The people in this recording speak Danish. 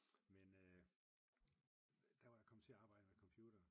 Men øh der var jeg kommet til at arbejde med computere